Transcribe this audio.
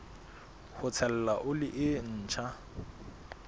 ho tshela oli e ntjha